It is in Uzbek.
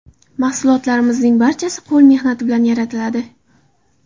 Mahsulotlarimizning barchasi qo‘l mehnati bilan yaratiladi.